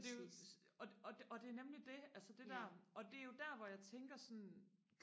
så det er jo og det og det er nemlig det altså det der og det er jo der hvor jeg tænker sådan